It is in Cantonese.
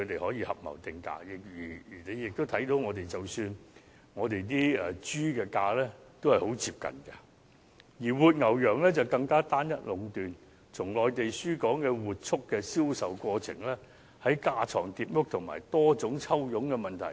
然而，合謀定價的情況不難出現，而大家也可見，活豬的價格非常接近，活牛羊的供應則更為單一壟斷，從內地輸港活畜的銷售過程亦存在架床疊屋和多重抽佣的問題。